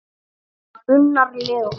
Unnar Leó.